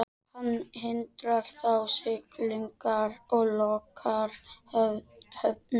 Hann hindrar þá siglingar og lokar höfnum.